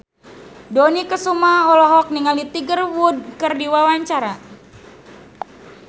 Dony Kesuma olohok ningali Tiger Wood keur diwawancara